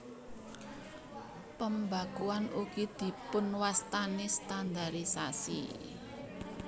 Pembakuan ugi dipunwastani standarisasi